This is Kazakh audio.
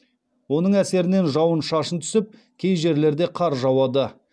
оның әсерінен жауын шашын түсіп кей жерлерде қар жауады